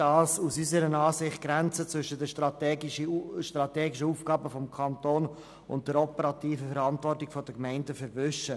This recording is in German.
Damit würden unseres Erachtens die Grenzen zwischen den strategischen Aufgaben des Kantons und der operativen Verantwortung der Gemeinden verwischt.